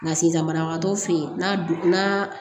Nka sisan banabagatɔ fɛ yen n'a